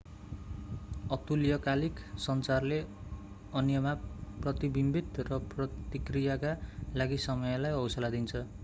अतुल्यकालिक सञ्चारले अन्यमा प्रतिबिम्बित र प्रतिक्रियाका लागि समयलाई हौसला दिन्छ